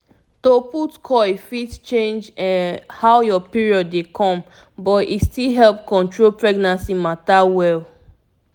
to put coil fit change um how your period dey come but e still help control pregnancy matter well.